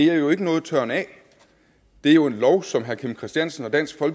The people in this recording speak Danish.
er jo ikke nogen tørren af det er jo en lov som herre kim christiansen og dansk